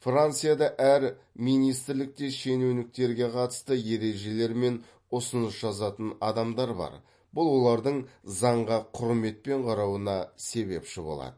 францияда әр министрлікте шенеуніктерге қатысты ережелер мен ұсыныс жазатын адамдар бар бұл олардың заңға құрметпен қарауына себепші болады